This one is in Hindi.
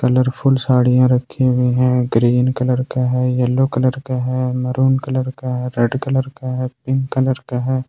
कलरफुल साड़ियां रखे हुए हैं ग्रीन कलर का है येलो कलर का है मेहरून कलर का है रेड कलर का है पिंक कलर का है।